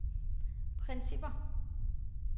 principper